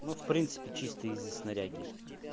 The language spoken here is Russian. ну в принципе чисто из-за снаряги